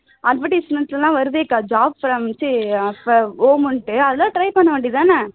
advertisement ல எல்லாம் வருது அக்கா job from home ன்னுட்டு அதெல்லாம் try பண்ண வேண்டியதுதானே